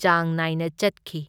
ꯆꯥꯡ ꯅꯥꯏꯅ ꯆꯠꯈꯤ꯫